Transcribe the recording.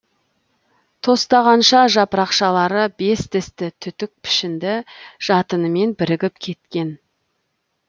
тостағанша жапырақшалары бес тісті түтік пішінді жатынымен бірігіп кеткен